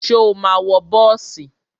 Ṣo ma wọ bọ́ọ̀sì?